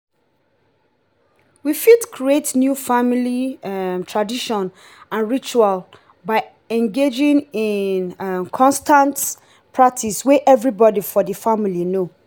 we fit create new family um tradition and ritual by engagin in um constant practice wey everybody for di family know